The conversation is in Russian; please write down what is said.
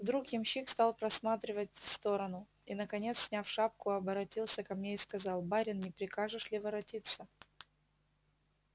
вдруг ямщик стал просматривать в сторону и наконец сняв шапку оборотился ко мне и сказал барин не прикажешь ли воротиться